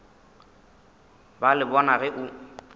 ba le bona ge o